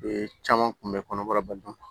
Bee caman kun bɛ kɔnɔbara ba dun